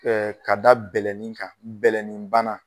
ka da bɛlɛnin kan bɛlɛnin bana.